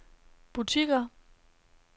butikker